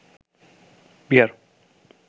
Bihar